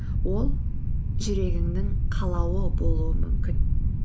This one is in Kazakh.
ол жүрегіңнің қалауы болуы мүмкін